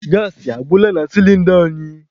Gaasị agwụla na sịlịnda anyị.